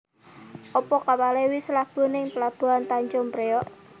Opo kapale wis labuh ning pelabuhan Tanjung Priok?